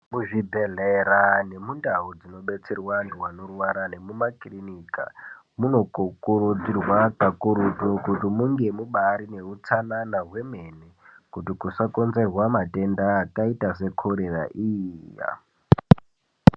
Muzvi bhedhlera nemundau dzino detserwa antu anorwara nemumakirinika muno kurudzirwa kakurutu kuti munge mubaarine hutsanana hwemene kuti musakonzerwa matenda akaita sekorera iya.